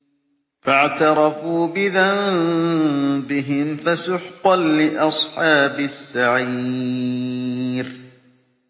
فَاعْتَرَفُوا بِذَنبِهِمْ فَسُحْقًا لِّأَصْحَابِ السَّعِيرِ